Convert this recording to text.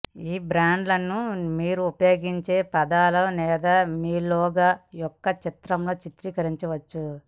ఈ బ్రాండ్ను మీరు ఉపయోగించే పదాలు లేదా మీ లోగో యొక్క చిత్రంలో చిత్రీకరించవచ్చు